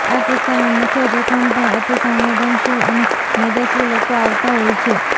આ કિસ્સામાં મુખ્ય જોખમ પણ અતિસંવેદનશીલ અને મેદસ્વી લોકો આવતા હોય છે